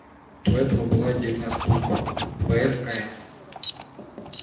до этого была отдельная служба фскн